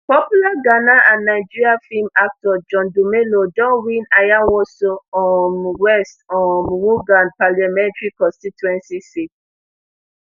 popular ghana and nigeria film actor john dumelo don win ayawaso um west um wuogon parliamentary constituency seat